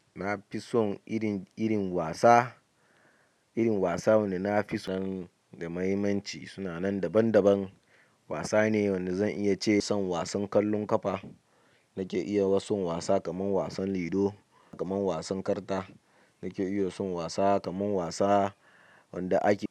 Na fi son irin, irin wasa, irin wasa wanda na fi son da muhimmanci. Suna nan daban daban. Wasa ne wanda zan iya ce son wasan ƙwallon ƙafa na ke iya wasun wasa kaman wasan lido, kaman wasan karta. Na ke iya son wasa kaman wasa wanda ake.